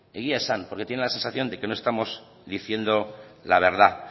egia esan porque tiene la sensación de que no estamos diciendo la verdad